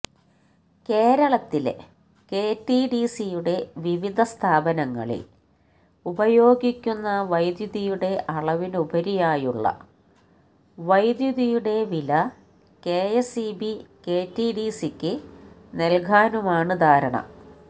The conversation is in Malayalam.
കേരളത്തിലെ കെറ്റിഡിസിയുടെ വിവിധ സ്ഥാപനങ്ങളില് ഉപയോഗിക്കുന്ന വൈദ്യുതിയുടെ അളവിനുപരിയായുള്ള വൈദ്യുതിയുടെ വില കെഎസ്ഇബി കെറ്റിഡിസിക്കു നല്കാനുമാണ് ധാരണ